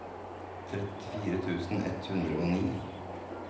trettifire tusen ett hundre og ni